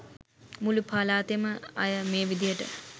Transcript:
මුළු පලාතෙම අය මේ විදියට